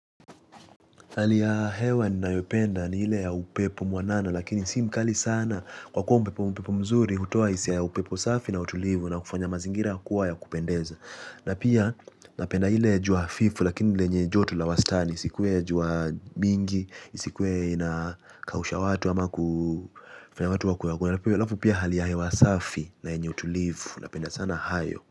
Hali ya hewa ninayopenda ni ile ya upepo mwanana lakini si mkali sana. Kwa kuwa upepo mzuri hutoa hisia ya upepo safi na utulivu na kufanya mazingira kuwa ya kupendeza. Na pia napenda ile ya jua hafifu lakini lenye joto la wastani isikuwe ya jua mingi isikuwe inakausha watu ama kufanya watu wakue wagonjwa. Halafu pia hali ya hewa safi na yenye utulivu napenda sana hayo.